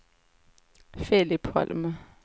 Filip Holm